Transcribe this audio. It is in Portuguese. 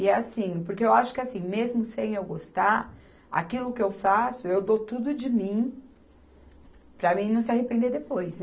E é assim, porque eu acho que assim, mesmo sem eu gostar, aquilo que eu faço, eu dou tudo de mim para mim não se arrepender depois, né?